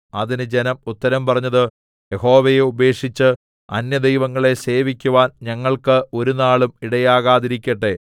അതിന് ജനം ഉത്തരം പറഞ്ഞത് യഹോവയെ ഉപേക്ഷിച്ച് അന്യദൈവങ്ങളെ സേവിക്കുവാൻ ഞങ്ങൾക്ക് ഒരുനാളും ഇടയാകാതിരിക്കട്ടെ